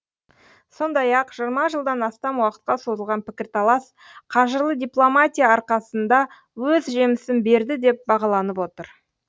сондай ақ жиырма жылдан астам уақытқа созылған пікірталас қажырлы дипломатия арқасында өз жемісін берді деп бағаланып отыр